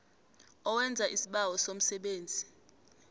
owenza isibawo semisebenzi